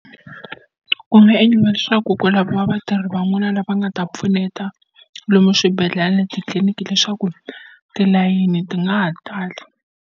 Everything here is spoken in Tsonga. Ku nga endliwa leswaku ku laviwa vatirhi van'wana lava nga ta pfuneta lomu swibedhlele na le titliliniki leswaku tilayini ti nga ha tali.